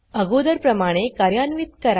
अगोदरप्रमाणे कार्यान्वीत करा